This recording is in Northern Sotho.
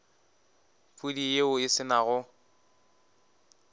pudi yeo e se nago